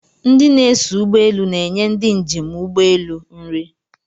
Ndi na-eso ụgbọeelu na-enye ndi njem ụgbọeelu nri